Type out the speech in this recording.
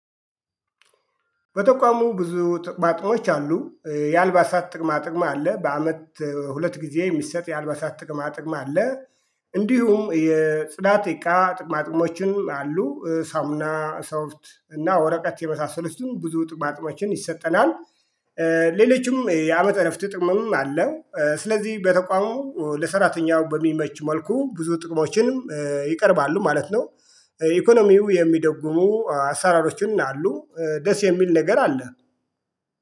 በተቋሙ ብዙ ጥቅማጥሞች አሉ የአልባሳት ጥቅማ ጥቅማ አለ በአመት ሁለት ጊዜ የሚሰጥ የአልባሳት ጥቅማ ጥቅም አለ። እንዲሁም የጽዳት እቃ ጥቅማጥቅሞችን አሉ ሳሙና ሰውት እና ወረቀት የመሳሰለችውን ብዙ ጥብ አጥቦችን ይሰጠናል። ሌሎችም የአመት እረፍት ጥቅምም አለ። ስለዚህ በተቋሙ ለሰራተኛው በሚመች መልኩ ብዙ ጥቅሞችንም ይቀርባሉ ማለት ነው። ኢኮኖሚው የሚደግሙ አሰራሮችን አሉ ደስ የሚል ነገር አለ